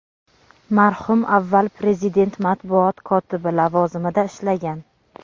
marhum avval Prezident matbuot kotibi lavozimida ishlagan.